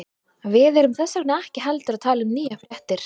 Við erum þess vegna ekki heldur að tala um nýjar fréttir.